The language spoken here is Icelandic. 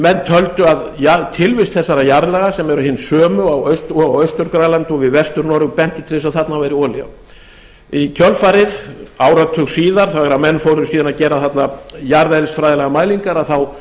menn töldu að tilvist þessara jarðlaga sem eru hin sömu og á austur grænlandi og við vestur noreg bentu til þess að þarna væri olía í kjölfarið áratug síðar þegar menn fóru síðan að gera þarna jarðeðlisfræðilegar mælingar þá